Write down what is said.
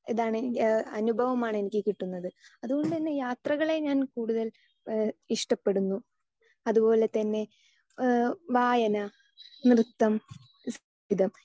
Speaker 2 ഇതാണ് അനുഭവമാണ് എനിക്ക് കിട്ടുന്നത്. അതുകൊണ്ടുതന്നെ യാത്രകളെ ഞാൻ കൂടുതൽ ഇഷ്ടപ്പെടുന്നു. അതുപോലെതന്നെ വായന, നൃത്തം, ഇത്